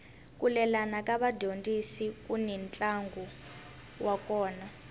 ku lelana ka vadyondzi kuni ntlangu wa kona